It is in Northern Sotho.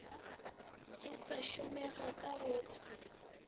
e sa šomega ka go